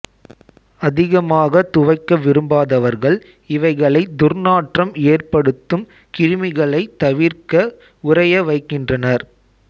அதிகமாகத் துவைக்க விரும்பாதவர்கள் இவைகளைத் துர்நாற்றம் எற்படுத்தும் கிருமிகளைத் தவிர்க்க உறைய வைக்கின்றனர்